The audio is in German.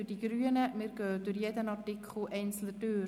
wir stimmen über jeden Artikel einzeln ab.